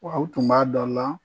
Aw tun b'a dɔ la